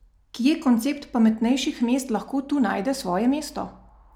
Kje koncept pametnejših mest lahko tu najde svoje mesto?